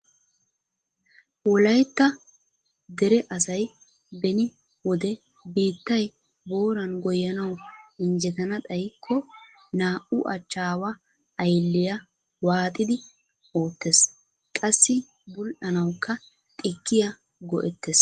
Wolaytta dere asay beni wode biittay booran goyyanaw injjetana xaykko naa""u achchawa aylliya waaxxidi oottees qassi bull"anawukka xikkiyaa go"ettees .